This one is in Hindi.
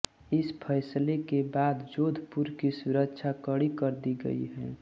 इस फैसले के बाद जोधपुर की सुरक्षा कड़ी कर दी गई है